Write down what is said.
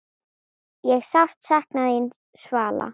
Ég sárt þín sakna, Svala.